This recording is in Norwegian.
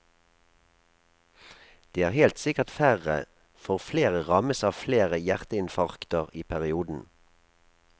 Det er helt sikkert færre, for flere rammes av flere hjerteinfarkter i perioden.